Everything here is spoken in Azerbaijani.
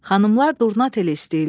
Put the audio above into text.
Xanımlar durna teli istəyirlər.